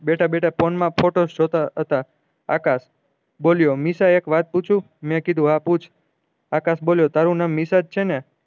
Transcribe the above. બેઠા બેઠા ફોન માં ફોટોસ જોતા હતા આકાશ બોલ્યો નિશા એક વાત પુછુ મેં કીધું હા પૂછ આકાશ બોલ્યો તારું નામ નિશા જ છે ને